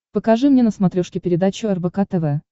покажи мне на смотрешке передачу рбк тв